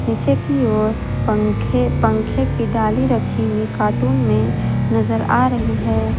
पीछे की ओर पंखे पंखे की डाली रखी हुई कार्टून में नजर आ रही है।